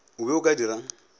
o be o ka dirang